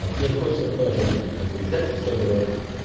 вот не хочется тоже блять нахуй взять и все броситься